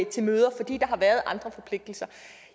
til møder fordi der har været andre forpligtelser